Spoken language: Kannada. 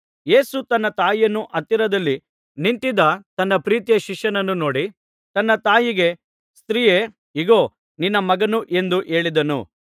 ಯೇಸು ತನ್ನ ತಾಯಿಯನ್ನೂ ಹತ್ತಿರದಲ್ಲಿ ನಿಂತಿದ್ದ ತನ್ನ ಪ್ರೀತಿಯ ಶಿಷ್ಯನನ್ನೂ ನೋಡಿ ತನ್ನ ತಾಯಿಗೆ ಸ್ತ್ರೀಯೇ ಇಗೋ ನಿನ್ನ ಮಗನು ಎಂದು ಹೇಳಿದನು